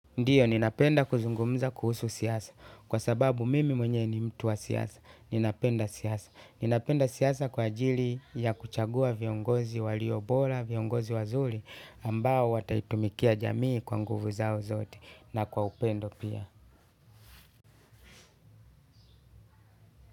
Ndiyo, ninapenda kuzungumza kuhusu siasa, kwa sababu mimi mwenye ni mtu wa siasa, ninapenda siasa. Ninapenda siasa kwa ajili ya kuchagua viongozi waliobora, viongozi wazuri, ambao wataitumikia jamii kwa nguvu zao zote, na kwa upendo pia.